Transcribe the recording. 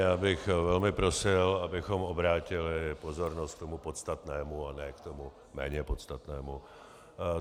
Já bych velmi prosil, abychom obrátili pozornost k tomu podstatnému a ne k tomu méně podstatnému.